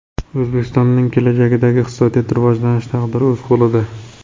O‘zbekistonning kelajakdagi iqtisodiy rivojlanish taqdiri o‘z qo‘lida.